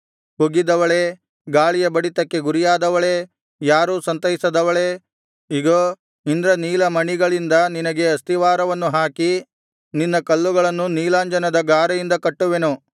ಕುಗ್ಗಿದವಳೇ ಗಾಳಿಯ ಬಡಿತಕ್ಕೆ ಗುರಿಯಾದವಳೇ ಯಾರೂ ಸಂತೈಸದವಳೇ ಇಗೋ ಇಂದ್ರನೀಲಮಣಿಗಳಿಂದ ನಿನಗೆ ಅಸ್ತಿವಾರವನ್ನು ಹಾಕಿ ನಿನ್ನ ಕಲ್ಲುಗಳನ್ನು ನೀಲಾಂಜನದ ಗಾರೆಯಿಂದ ಕಟ್ಟುವೆನು